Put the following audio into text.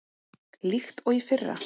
líkt og í fyrra.